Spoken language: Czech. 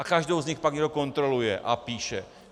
A každou z nich pak někdo kontroluje a píše.